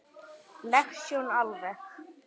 leg sjón alveg.